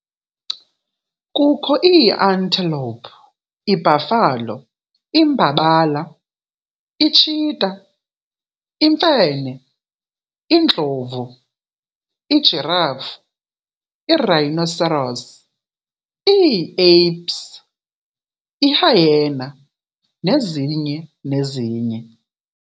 Kukho ii-antelope, I-buffalo, imbabala, i-cheetah, imfene, indlovu, i-giraffe, i-rhinoceros, ii-apes, i-hyaena, nezinye nezinye.